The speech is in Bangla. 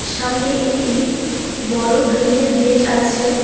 সামনে একটি বড় গ্রিলের গেট আছে।